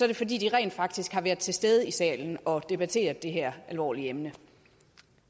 det fordi de rent faktisk var til stede i salen og debatterede det her alvorlige emne